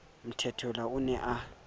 mthethwa o ne a sa